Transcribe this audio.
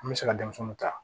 An bɛ se ka denmisɛnninw ta